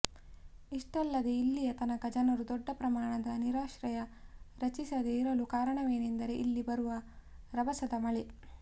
ಇಷ್ಟಲ್ಲದೆ ಇಲ್ಲಿಯ ತನಕ ಜನರು ದೊಡ್ಡ ಪ್ರಮಾಣದ ನೀರಾಶ್ರಯ ರಚಿಸದೆ ಇರಲು ಕಾರಣವೇನೆಂದರೆ ಇಲ್ಲಿ ಬರುವ ರಭಸದ ಮಳೆ